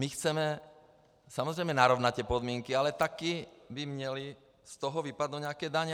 My chceme samozřejmě narovnat ty podmínky, ale také by měly z toho vypadnout nějaké daně.